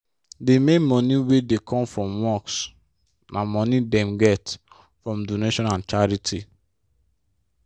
d main money wey dey come from mosque na money dem get from donation and charity.